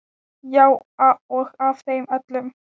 Já og af þeim öllum.